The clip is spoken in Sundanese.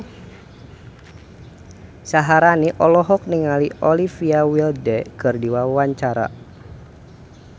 Syaharani olohok ningali Olivia Wilde keur diwawancara